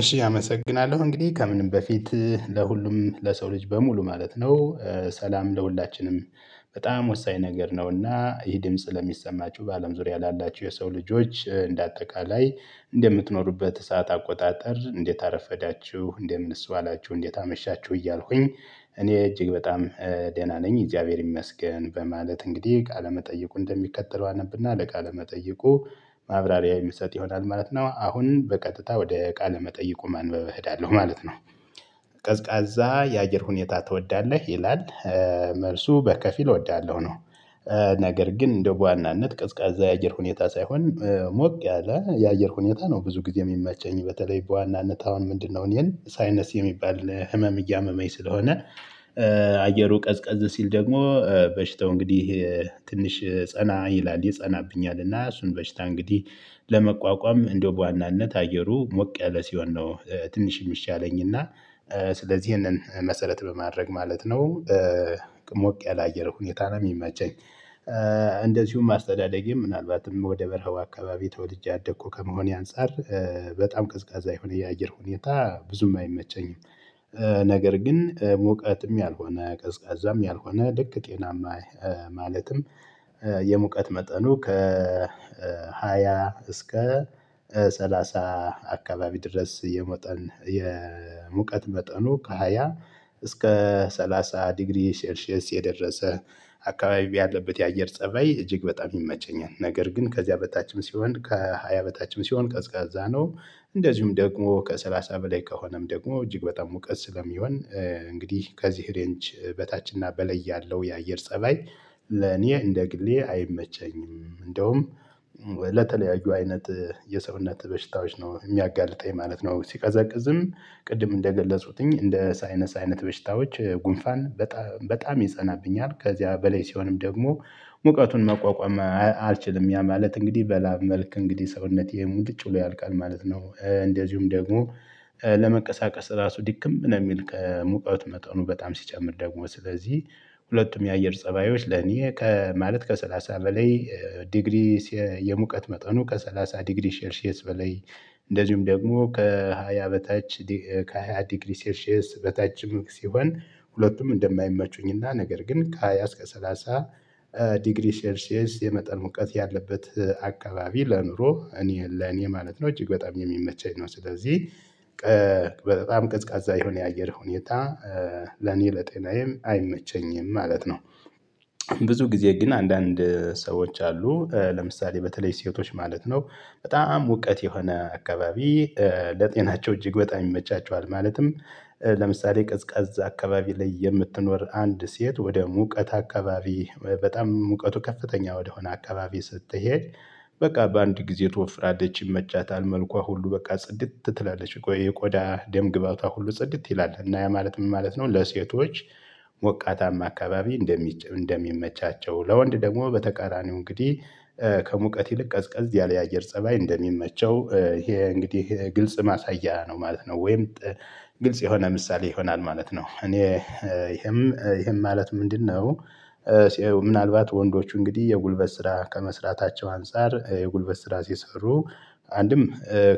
እሺ አመሰግናለሁ እንግዲህ ከምንም በፊት ለሁሉም ለሰው ልጅ በሙሉ ማለት ነው ሰላም ለሁላችንም። በጣም ወሳኝ ነገር ነውና ይህ ድምጽ ለሚሰማችሁ በአለም ዙሪያ ላላችሁ የሰው ልጆች እንደ አጠቃላይ እንደምትኖሩበት ሰዓት አቆጣጠር እንዴት አረፈዳችሁ እንደምንስ ዋላችሁ እንዴት አመሻችሁ እያልኩኝ? እኔ እጅግ በጣም ደህና ነኝ እግዚአብሔር ይመስገን በማለት እንግዲህ ቃለመጠየቁ እንደሚከተለው አነብና ለቃለ መጠይቁ ማብራሪያ የሚሰጥ ይሆናል ማለት ነው። አሁን በቀጥታ ወደ ቃለ መጠይቁ ማንበብ እሄዳለሁ ማለት ነው። ቀዝቃዛ የአየር ሁኔታ ትወዳለህ ይላል? መልሱ በከፊል እወዳለሁ ነው። ነገር ግን እንደው በዋናነት ቀዝቃዜ የአየር ሁኔታ ሳይሆን ሞቅ ያለ የአየር ሁኔታ ነው ብዙ ጊዜ የሚመቸኝ በተለይ በዋናነት አሁን ምንድነው እኔን ሳይነስ የሚባል ህመም እያመመኝ ስለሆነ። አየሩ ቀዝቀዝ ሲል ደግሞ በሽተው እንግዲህ ትንሽ ጸና ይላል ይጸናብኛል እና እሱን በሽታ እንግዲህ ለመቋቋም እንደው በዋናነት አየሩ ሞቅ ያለ ሲሆን ነው። ትንሽ የሚሻለኝ እና ስለዚህ ይሄንን መሰረት በማድረግ ማለት ነው። ሞቅ ያለ የአየር ሁኔታ ነው የሚመቸኝ። እንደዚሁም አስተዳደጌም ምናልባትም ወደ በረሃው አካባቢ ተወልጄ ያደኩ ከመሆኔ አንፃር። በጣም ቀዝቃዛ የሆነ የአየር ሁኔታ ብዙም አይመቸኝም። ነገር ግን ሙቀትም ያልሆነ ቀዝቃዛም ያልሆነ ልክ ጤናማ ማለትም የሙቀት መጠኑ ከ ከሃያ እስከ ሰላሳ አካባቢ ድረስ የመጠን የሙቀት መጠኑ ከሃያ እስከ ሰላሳ ዲግሪ ሴልሺየስ የደረሰ አካባቢ ያለበት የአየር ፀባይ እጅግ በጣም ይመቸኛል። ነገር ግን ከዚያ በታችም ሲሆን ከሃያ በታችም ሲሆን ቀዝቃዛ ነው። እንደዚሁም ደግሞ ከሰላሳ በላይ ከሆነም ደግሞ እጅግ በጣም ሙቀት ስለሚሆን። እንግዲህ ከዚህ ሬንጅ በታች እና በላይ ያለው የአየር ፀባይ ለኔ እንደ ግሌ አይመቸኝም። እንደውም ለተለያዩ አይነት የሰውነት በሽታዎች ነው የሚያጋልጠኝ ማለት ነው። ሲቀዘቅዝም ቅድም እንደገለጹትኝ እንደ ሳይነሳ አይነት በሽታዎች ጉንፋን በጣም በጣም ይጸናብኛል ከዚያ በላይ ሲሆንም ደግሞ ሙቀቱን መቋቋም አልችልም ያ ማለት እንግዲህ በላብ መልክ እንግዲህ ሰውነቴ ሙልጭ ብሎ ያልቃል ማለት ነው። እንደዚሁም ደግሞ ለመቀሳቀስ ራሱ ድክም ነው የሚል ከሙቀት መጠኑ በጣም ሲጨምር ደግሞ ስለዚህ። ሁለቱም የአየር ፀባዮች ለኔ ከማለት ከሰላሳ በላይ ዲግሪ የሙቀት መጠኑ ከሰላሳ ዲግሪ ሴልሽየስ በለይ። እንደዚሁም ደግሞ ከሃያ በታች ከሃያ ዲግሪ ሰልሽየስ በታችም ሲሆን ሁለቱም እንደማይመቹኝና ነገር ግን ከሃያ እስከ ሰላሳ ዲግሪ ሴልሼስ የመጠን ሙቀት ያለበት አካባቢ ለኑሮ እኔ ለኔ ማለት ነው እጅግ በጣም የሚመቸኝ ነው። ስለዚህ በጣም ቀዝቃዛ የሆነ የአየር ሁኔታ ለኔ ለጤናዬም አይመቸኝም ማለት ነው። ብዙ ጊዜ ግን አንዳንድ ሰዎች አሉ ለምሳሌ በተለይ ሴቶች ማለት ነው። በጣም ሙቀት የሆነ አካባቢ ለጤናቸው እጅግ በጣም ይመቻቸዋል። ማለትም ለምሳሌ ቀዝቃዝ አካባቢ ላይ የምትኖር አንድ ሴት ወደ ሙቀት አካባቢ በጣም ሙቀቱ ከፍተኛ ወደሆነ አካባቢ ስትሄድ በቃ በአንድ ጊዜ ትወፍራላች ይመቻታል መልኳ ሁሉ በቃ ጽድት ትላለች የቆዳ ደም ግቧታ ሁሉ ጽድት ይላል እና ያ ማለት ምን ማለት ነው? ለሴቶች ሞቃታማ አካባቢ እንደሚመቻቸው ለወንድ ደግሞ በተቃራኒው እንግዲህ ከሙቀት ይልቅ ቀዝቀዝ ያለ የአየር ፀባይ እንደሚመቸው። ይሄ እንግዲህ ይሄ ግልጽ ማሳያ ነው ማለት ነው። ወይም ግልጽ የሆነ ምሳሌ ይሆናል ማለት ነው። እኔ ይሄም ይሄም ማለት ምንድነው? ምናልባት ወንዶቹ እንግዲህ የጉልበት ስራ ከመስራታቸው አንፃር የጉልበት ስራ ሲሰሩ አንድም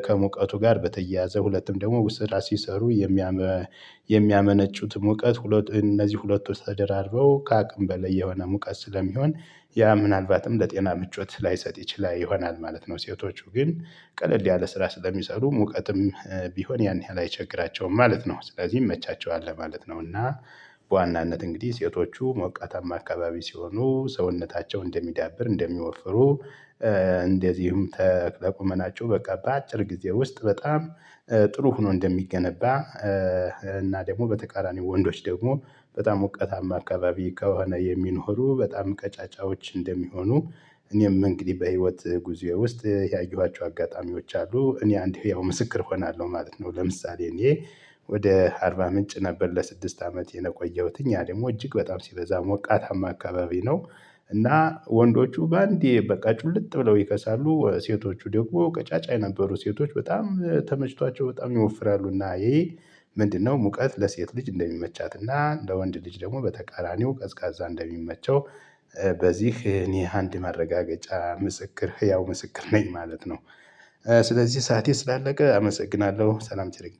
ከሙቀቱ ጋር በተያያዘ ሁለትም ደግሞ ስራ ሲሰሩ የሚያመነጩት ሙቀት ሁለት እነዚህ ሁለቱ ተደራርርበው ከአቅም በላይ የሆነ ሙቀት ስለሚሆን ያ ምናልባትም ለጤና ምቾት ላይሰጥ ይችላል ይሆናል ማለት ነው። ሴቶቹ ግን ቀለል ያለ ስራ ስለሚሰሩ ሙቀትም ቢሆን ያን ያህል አይቸግራቸውም ማለት ነው ስለዚህ ይመቻቸዋል ማለት ነው። እና በዋናነት እንግዲህ ሴቶቹ ሞቃታማ አካባቢ ሲሆኑ ሰውነታቸው እንደሚዳብር እንደሚወፍሩ። እንደዚሁም በቁመናቸው በቃ በአጭር ጊዜ ውስጥ በጣም ጥሩ ሆኖ እንደሚገነባ። እና ደግሞ በተቃራኒ ወንዶች ደግሞ በጣም ሞቀታማ አካባቢ ከሆነ የሚኖሩ በጣም ቀጫጫዎች እንደሚሆኑ። እኔም እንግዲህ በህይወት ጉዞዬ ውስጥ ያየኋቸው አጋጣሚዎች አሉ እኔ አንድ ህያው ምስክር እሆናለሁ ማለት ነው። ለምሳሌ እኔ ወደ አርባ ምንጭ ነበር ለስድስት አመት የቆየሁትኝ ያ ደግሞ እጅግ በጣም ሲበዛ ሞቃታማ አካባቢ ነው። እና ወንዶቹ በአንዴ በቃ ጩልጥ ብለው ይከሳሉ ሴቶቹ ደግሞ ቀጫጫ የነበሩ ሴቶች በጣም ተመችቷቸው በጣም ይወፍራሉና ይሄ ምንድነው ሙቀት ለሴት ልጅ እንደሚመቻትና ለወንድ ልጅ ደግሞ በተቃራኒው ቀዝቃዛ እንደሚመቸው። በዚህ እኔ አንድ ማረጋገጫ ምስክር ህያው ምስክር ነኝ ማለት ነው። ስለዚህ ሰዓቴ ስላለቀ አመሰግናለሁ ሰላም ቸር ይግጠም